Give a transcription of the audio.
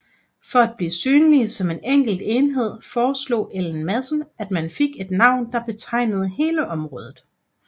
For at blive synlige som en enkelt enhed foreslog Ellen Madsen at man fik et navn der betegnede hele området